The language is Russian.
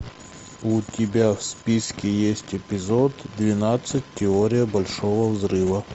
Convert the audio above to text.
у тебя в списке есть эпизод двенадцать теория большого взрыва